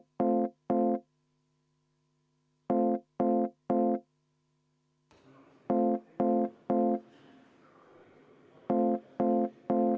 V a h e a e g